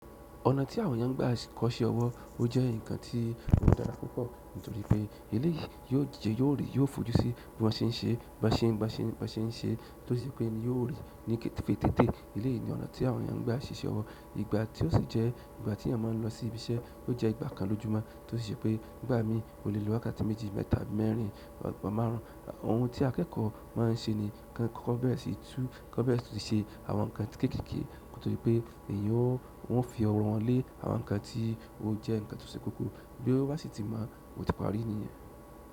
Ọ̀nà tí àwọn èyàn n gbà kọ́ iṣẹ́-ọwọ́ ó jẹ́ nkan tí ó dára púpọ́ nítorí pé eléyìí. Yóò jẹ yóò rí yóò fojú sí bí wọ́n ṣe ń ṣe, bí wọ́n ṣe ń ṣe, bi wọ́n ṣe ń ṣe é, tó sì jẹ́ pé ni yóò rí ní kété tété eléyìí yìí ni ọ̀nà tí àwọn èèyàn n gba ṣíṣẹ́ ọwọ́. Ìgbà tí ó sì jẹ́ ìgbà tí èyàn maa n lọ sí ibi iṣẹ́ yóò jẹ́ ìgbà kan lójúmọ́ tó sì jẹ́ pé nígbà míì o le lo wákàtí méjì mẹ́ta àbí mẹ́rin pàápàá márùn. Òhun tí akẹ́kọ̀ọ́ máa ń ṣe ni kọ́n kọ́ bẹ̀rẹ̀ sì tú kọ́n bẹ̀rẹ̀ sì tún ṣe àwọn nǹkan kéékèèké kótó di pé èèyàn ó, wọ́n ó fi ọrùn wọn lé àwọn nǹkan tí ó jẹ́ nǹkan tó ṣe kókó bí ó bá sì tí mọ̀ ọ́ ó tí parí nìyẹn.